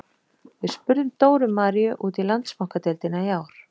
Við spurðum Dóru Maríu út í Landsbankadeildina í ár.